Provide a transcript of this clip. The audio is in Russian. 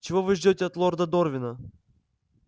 чего вы ждёте от лорда дорвина